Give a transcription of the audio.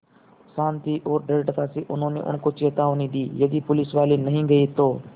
शान्ति और दृढ़ता से उन्होंने उनको चेतावनी दी यदि पुलिसवाले नहीं गए तो